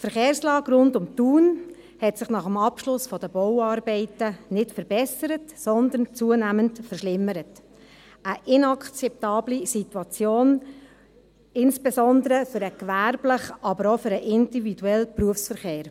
Die Verkehrslage rund um Thun hat sich nach dem Abschluss der Bauarbeiten nicht verbessert, sondern zunehmend verschlimmert: eine inakzeptable Situation, insbesondere für den gewerblichen, aber auch für den individuellen Berufsverkehr.